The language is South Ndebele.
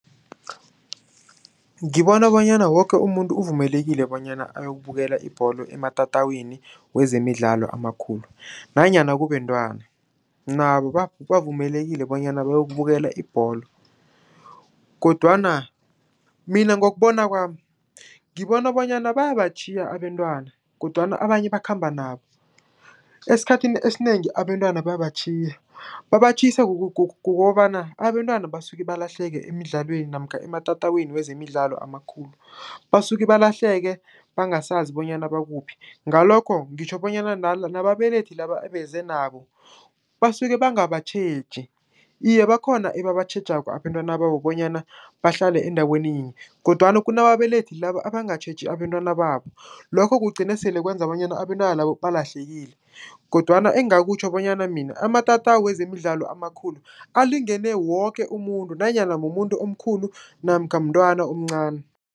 Ngibona bonyana woke umuntu uvumelekile bonyana ayokubukela ibholo ematatawini wezemidlalo amakhulu, nanyana kubentwana. Nabo bavumelekile bonyana bayokubukela ibholo, kodwana mina ngokubona kwami, ngibona bonyana bayatjhisa abentwana, kodwana abanye bakhamba nabo, esikhathini esinengi abentwana bayabatjhiya. Babatjhiyisa kukobana abentwana basuke balahleke emidlalweni, namkha ematatawini wezemidlalo amakhulu, basuke balahleke bangasazi bonyana bakuphi. Ngalokho ngitjho bonyana nababelethi laba ebeze nabo basuke bangabatjheji. Iye, bakhona ebabatjhejako abentwana babo bonyana bahlale endaweni yinye, kodwana kunababelethi laba bangatjheji abentwana babo. Lokho kugcine sele kwenza bonyana abentwana labo balahlekile, kodwana engakutjho bonyana mina amatatawu wezemidlalo amakhulu, alingene woke umuntu, nanyana mumuntu omkhulu, namkha mntwana omncani.